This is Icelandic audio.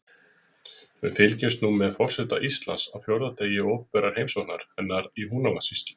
Við fylgjumst nú með forseta Íslands á fjórða degi opinberrar heimsóknar hennar í Húnavatnssýslu.